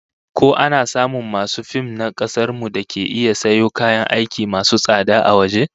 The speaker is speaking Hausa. Ko ana samun masu fim na kasar mu dake iya sayo kayan aiki masu tsada na waje?